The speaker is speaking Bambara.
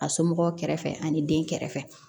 A somɔgɔw kɛrɛfɛ ani den kɛrɛfɛ